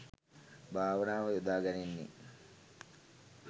භාවනාව යොදා ගැනෙන්නේ